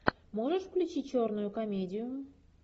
можешь включить черную комедию